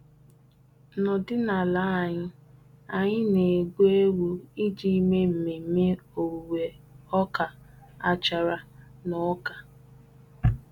N'ọdịnala anyị, anyị na-egbu ewu iji mee mmemme owuwe ọka achara na ọka.